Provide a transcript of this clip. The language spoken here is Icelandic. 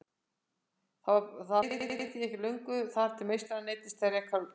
Það leið því ekki á löngu þar til meistarinn neyddist til að reka Lúlla.